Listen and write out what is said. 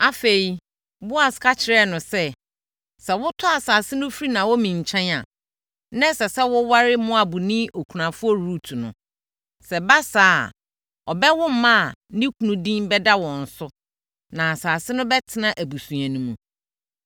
Afei, Boas ka kyerɛɛ no sɛ, “Sɛ wotɔ asase no firi Naomi nkyɛn a, na ɛsɛ sɛ woware Moabni okunafoɔ Rut no. Sɛ ɛba saa a, ɔbɛwo mma a ne kunu din bɛda wɔn so na asase no bɛtena abusua no mu.”